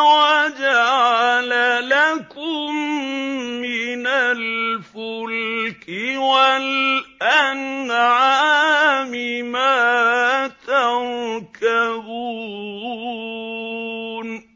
وَجَعَلَ لَكُم مِّنَ الْفُلْكِ وَالْأَنْعَامِ مَا تَرْكَبُونَ